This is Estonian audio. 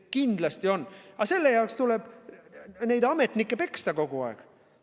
Kindlasti on, aga selle jaoks tuleb neid ametnikke kogu aeg peksta.